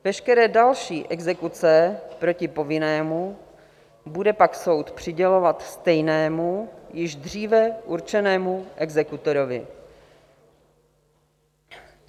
Veškeré další exekuce proti povinnému bude pak soud přidělovat stejnému, již dříve určenému exekutorovi.